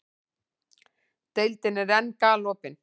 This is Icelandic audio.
Deildin er enn galopin